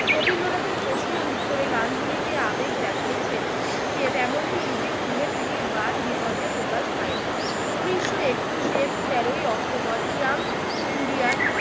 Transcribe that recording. রবীন্দ্রনাথের প্রশ্নের উত্তরে গান্ধীজি যে আবেগ দেখাইছেন সে তেমনটি ইতিপূর্বে তিনি বাদ বিতর্কে প্রকাশ পায় নাই। উনিশশো একুশে তেরোই অক্টোবর ইয়াং ইন্ডিয়ার